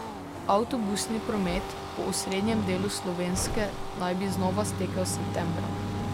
Avtobusni promet po osrednjem delu Slovenske naj bi znova stekel septembra.